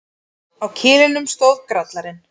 Á kilinum stóð Grallarinn.